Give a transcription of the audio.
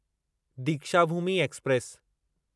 Deekshabhoomi express